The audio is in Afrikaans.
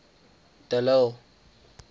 de lille